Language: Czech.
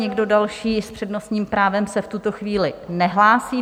Nikdo další s přednostním právem se v tuto chvíli nehlásí.